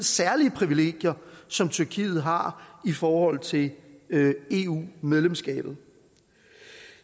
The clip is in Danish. særlige privilegier som tyrkiet har i forhold til eu medlemskabet